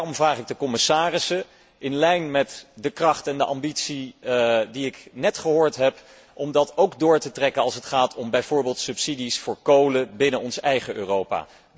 Daarom vraag ik de commissarissen in lijn met de kracht en de ambitie die ik net gehoord heb, om dat ook door te trekken als het gaat om bijvoorbeeld subsidies voor kolen binnen ons eigen Europa.